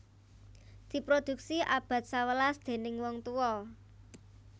Diproduksi abad sewelas déning wong tuwa